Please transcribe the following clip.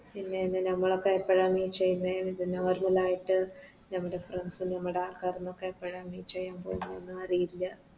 ഉം പിന്നെ എന്ത് നമ്മളൊക്കെ എപ്പളാ Meet ചെയ്യുന്നെ ഇത് Normal ആയിട്ട് ഞമ്മുടെ Friends നമ്മുടെ ആൾക്കാരും ഒക്കെ എപ്പളാ Meet ചെയ്യാൻ പോകു ന്നെ അറിയില്ല